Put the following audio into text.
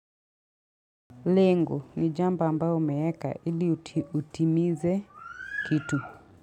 Lengo, ni jambo ambayo nimeeka hili utimize kitu.